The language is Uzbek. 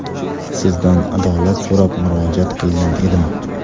sizdan adolat so‘rab murojaat qilgan edim.